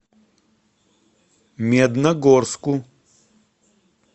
медногорску